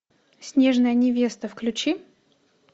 снежная невеста включи